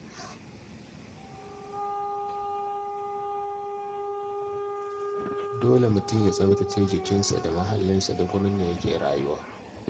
Dole mutum ya tsaftace jikinsa da muhallinsa da wurin da yake rayuwa.